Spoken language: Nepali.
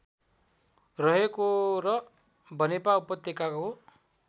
रहेको र बनेपा उपत्यकाको